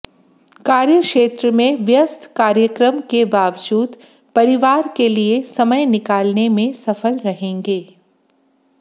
कार्यक्षेत्र में व्यस्त कार्यक्रम के बावजूद परिवार के लिए समय निकालने में सफल रहेंगे